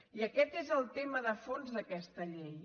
i aquest és el tema de fons d’aquesta llei